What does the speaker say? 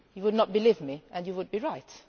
You would not believe me, and you would be right.